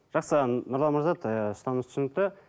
жақсы нұрлан мырза ыыы ұстанымыңыз түсінікті